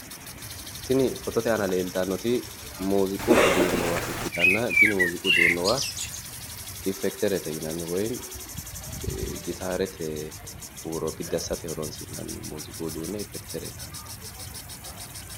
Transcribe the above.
Tini fotote aana leeltannoti mooziiqu uduunnuwa ikkitanna tini mooziiqu uduunnuwa iffekiterete yinanni woyimmi gitaarete huuro biddi assate horoonsi'nanni mooziiqu uduunne iffekiterete yinannite